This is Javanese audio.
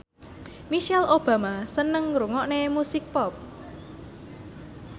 Michelle Obama seneng ngrungokne musik pop